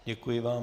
Děkuji vám.